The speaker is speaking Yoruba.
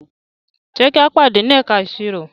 Ṣe ki a pade ni ẹka iṣiro?